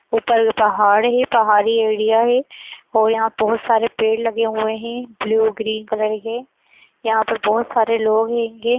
ऊपर पहाड़ है पहाड़ी एरिया है और यहाँ बोहोत सारे पेड़ लगे हुए हैं ब्लू ग्रीन कलर के। यहाँ पर बोहोत सारे लोग हेंगे।